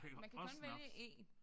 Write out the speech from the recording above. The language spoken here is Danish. Man kan kun vælge 1